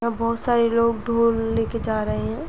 यहाँ बोहोत सारे लोग ढ़ोल ले के जा रहे हैं।